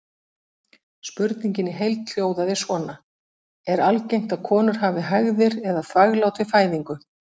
Spurningin í heild hljóðaði svona: Er algengt að konur hafi hægðir eða þvaglát við fæðingu?